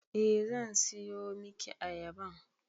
Eh zan siyo miki ayaban